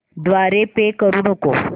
द्वारे पे करू नको